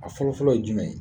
A fɔlɔfɔlɔ ye jumɛn ye?